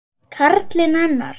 Karlinn hennar.